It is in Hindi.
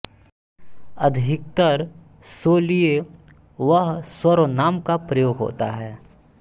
अधिकतर सो लिए वह सर्वनाम का प्रयोग होता है